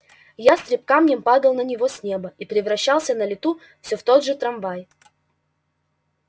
ястреб камнем падал на него с неба и превращался на лету все в тот же трамвай